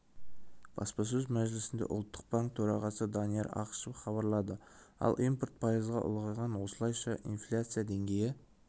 баспасөз мәжілісінде ұлттық банк төрағасы данияр ақышев хабарлады ал импорт пайызға ұлғайған осылайша инфляция деңгейі